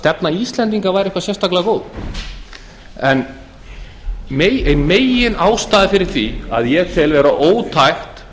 stefna íslendinga væri eitthvað sérstaklega góð ein meginástæða fyrir því að ég tel vera ótækt